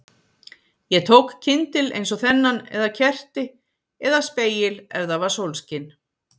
Ég tók kyndil eins og þennan eða kerti, eða spegil ef það var sólskin